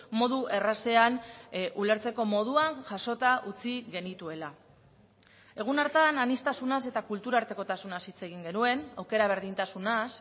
modu errazean ulertzeko moduan jasota utzi genituela egun hartan aniztasunaz eta kultura artekotasunaz hitz egin genuen aukera berdintasunaz